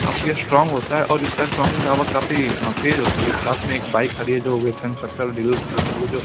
काफी स्ट्रॉन्ग होता है और इसका स्ट्रॉन्ग पावर काफी तेज होती है साथ में एक बाइक खड़ी है जो कंस्ट्रक्टर डिलर की होती है जो--